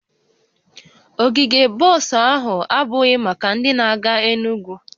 Ogige bọs ahụ abụghị maka ndị na-aga Enugwu